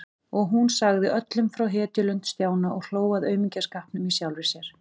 Og hún sagði öllum frá hetjulund Stjána og hló að aumingjaskapnum í sjálfri sér.